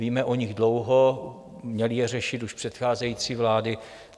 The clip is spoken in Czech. Víme o nich dlouho, měly je řešit už předcházející vlády.